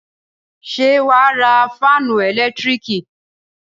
Ṣé wà á ra fáánù ẹ̀lẹ́tíríkì?